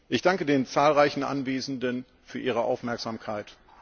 Ich danke den zahlreichen Anwesenden für ihre Aufmerksamkeit.